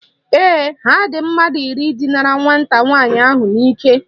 Ee, ha dị mmadụ iri dinara nwata nwaanyị ahụ n'ike